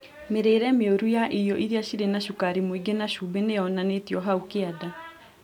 Mĩrĩĩre mĩũru ya irio iria cirĩ na cukari mũingĩ na cumbĩ nĩyonanĩtio hau kĩanda